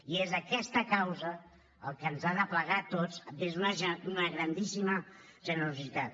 i és aquesta causa el que ens ha d’aplegar a tots des d’una grandíssima generositat